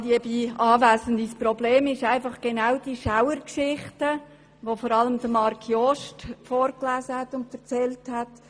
Das Problem sind genau diese Schauergeschichten, welche vor allem Marc Jost vorgelesen und erzählt hat.